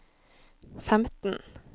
femten